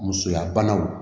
Musoya banaw